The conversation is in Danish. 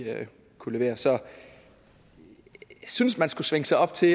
kunne levere så jeg synes man skulle svinge sig op til